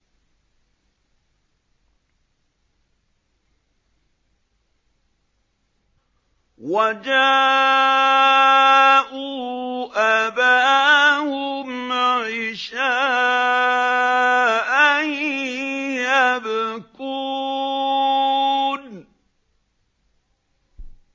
وَجَاءُوا أَبَاهُمْ عِشَاءً يَبْكُونَ